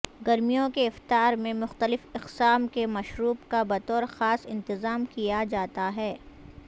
گرمیوں کے افطار میں مختلف اقسام کے مشروب کا بطور خاص انتظام کیا جاتا ہے